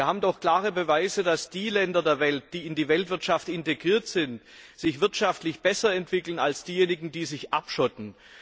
Wir haben doch klare Beweise, dass die Länder der Welt, die in die Weltwirtschaft integriert sind, sich wirtschaftlich besser entwickeln als diejenigen, die sich abschotten.